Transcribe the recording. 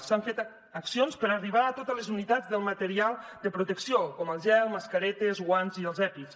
s’han fet accions per arribar a totes les unitats del material de protecció com el gel mascaretes guants i els epis